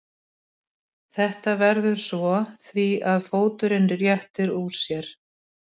Þetta veldur svo því að fóturinn réttir úr sér.